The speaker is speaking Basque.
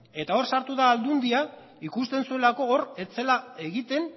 eta hor sartu da aldundia ikusten zuelako hor ez zela egiten